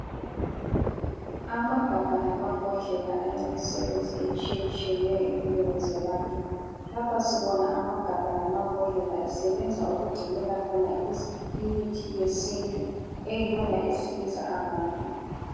Amagabha lamabhodlela alemisebenzi etshiyetshiyeneyo empilweni zabantu. Lapha sibona amagabha lamambodlela esebenza ukugcinela khona imithi yesintu eyiyona esilisa abantu.